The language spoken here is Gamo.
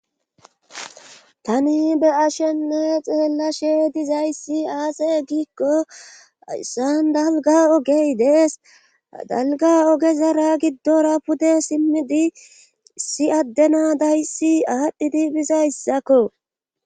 tani be'ashenne xeella she dizayssi aase giikko ayssan dalga ogey dees dalga oge zara giddora pude simmidi si addena dayssi aadhdhi diibhizayssakko